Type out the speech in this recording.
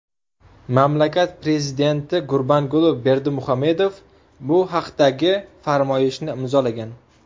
Mamlakat prezidenti Gurbanguli Berdimuhamedov bu haqdagi farmoyishni imzolagan .